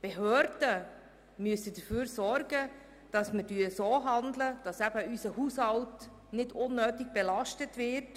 Als Behörde müssen wir dafür sorgen und so handeln, dass unser Haushalt nicht unnötig belastet wird.